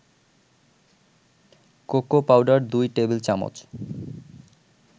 cocoa powder ২ টেবিল-চামচ